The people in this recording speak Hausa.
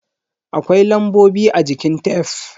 Akwai lambobi a jikin tef.